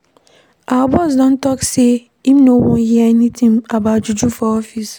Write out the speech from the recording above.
Our boss don tok am sey im no wan hear anytin about juju for office.